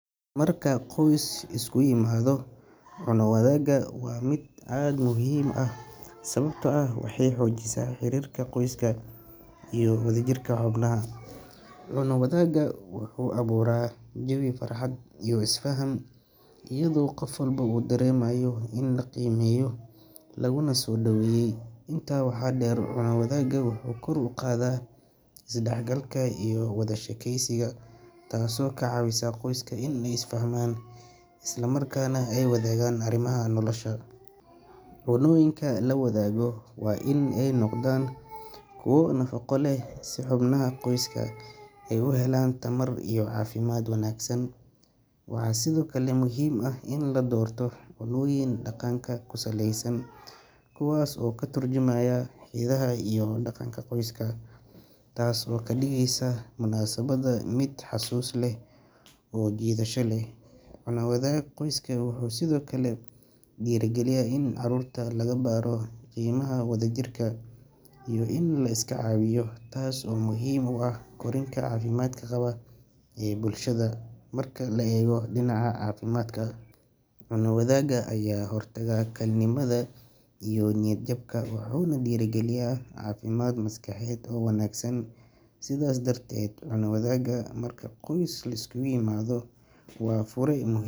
Marka qoys isku yimaado, cunno wadaagga waa mid aad u muhiim ah sababtoo ah waxay xoojisaa xiriirka qoyska iyo wadajirka xubnaha. Cunno wadaagga wuxuu abuuraa jawi farxad iyo isfaham, iyadoo qof walba uu dareemayo in la qiimeeyo laguna soo dhoweeyay. Intaa waxaa dheer, cunno wadaagga wuxuu kor u qaadaa isdhexgalka iyo wada sheekaysiga, taas oo ka caawisa qoyska inay isku fahmaan isla markaana ay wadaagaan arrimaha nolosha. Cunnooyinka la wadaago waa in ay noqdaan kuwo nafaqo leh, si xubnaha qoyska ay u helaan tamar iyo caafimaad wanaagsan. Waxaa sidoo kale muhiim ah in la doorto cunnooyin dhaqanka ku saleysan, kuwaas oo ka turjumaya hidaha iyo dhaqanka qoyska, taas oo ka dhigaysa munaasabadda mid xusuus leh oo soo jiidasho leh. Cunno wadaagga qoyska wuxuu sidoo kale dhiirrigeliyaa in caruurta lagu baro qiimaha wadajirka iyo in la iska caawiyo, taas oo muhiim u ah korriinka caafimaadka qaba ee bulshada. Marka la eego dhinaca caafimaadka, cunno wadaagga ayaa ka hortagta kalinimada iyo niyad-jabka, wuxuuna dhiirrigeliyaa caafimaad maskaxeed oo wanaagsan. Sidaas darteed, cunno wadaagga marka qoys liskugu yimaado waa fure muh.